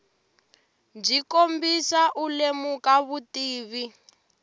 byi kombisa u lemuka vutivi